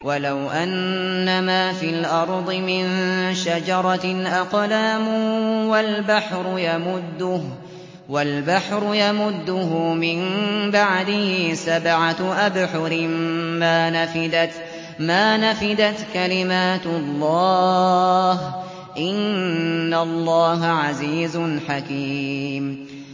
وَلَوْ أَنَّمَا فِي الْأَرْضِ مِن شَجَرَةٍ أَقْلَامٌ وَالْبَحْرُ يَمُدُّهُ مِن بَعْدِهِ سَبْعَةُ أَبْحُرٍ مَّا نَفِدَتْ كَلِمَاتُ اللَّهِ ۗ إِنَّ اللَّهَ عَزِيزٌ حَكِيمٌ